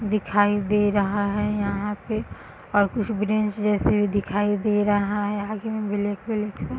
दिखाई दे रहा है यहाँ पे और कुछ ग्रिल्स जैसे दिखाई दे रहा है आगे में ब्लैक ब्लैक सा --